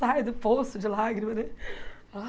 Sai do poço de lágrimas, né? Ah